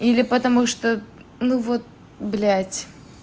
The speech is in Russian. или потому что ну вот блядь